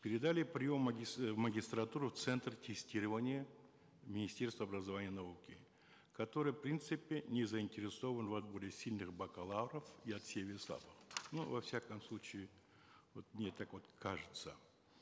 передали прием в магистратуру в центр тестирования министерства образования и науки которое в принципе не заинтересовано в отборе сильных бакалавров и отсеве слабых ну во всяком случае вот мне так вот кажется